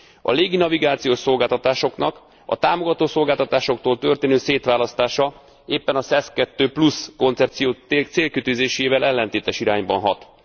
A légi navigációs szolgáltatásoknak a támogató szolgáltatásoktól történő szétválasztása éppen a SES II Plus koncepció célkitűzésével ellentétes irányban hat.